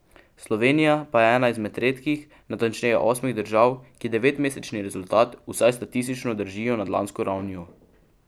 Slovenija pa je ena izmed redkih, natančneje osmih držav, ki devetmesečni rezultat vsaj statistično držijo nad lansko ravnjo.